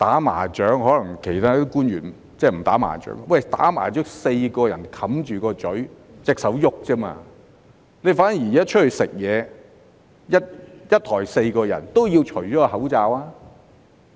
官員可能不"打麻將"，"打麻將"是4個人戴上口罩，只有雙手在活動，反而外出用餐，一枱4人都要除下口罩。